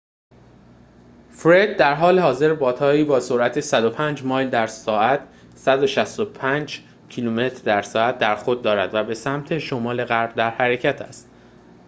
«فرِد» درحال حاضر بادهایی با سرعت 105 مایل در ساعت 165 کیلومتر در ساعت در خود دارد و به سمت شمال غرب در حرکت است